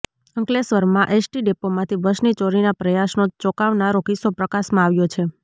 અંકલેશ્વરમાં એસટી ડેપોમાંથી બસની ચોરીના પ્રયાસનો ચોંકાવનારો કિસ્સો પ્રકાશમાં આવ્યો છે